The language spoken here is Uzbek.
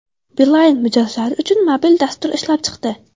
Beeline mijozlari uchun mobil dastur ishlab chiqdi.